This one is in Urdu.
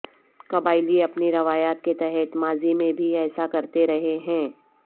قبائلی اپنی روایات کے تحت ماضی میں بھی ایسا کرتے رہے ہیں